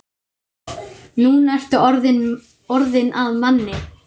Nú ertu orðinn að manni.